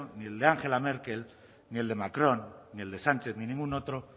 ni el de angela merkel ni el de macron ni el de sánchez ni ningún otro